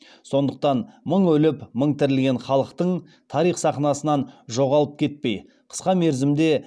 сондықтан мың өліп мың тірілген халықтың тарих сахнасынан жоғалып кетпей қысқа мерзімде